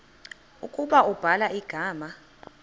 ukuba ubhala igama